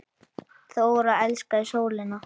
Þóra elskaði sólina.